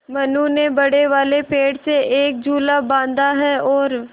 मनु ने बड़े वाले पेड़ से एक झूला बाँधा है और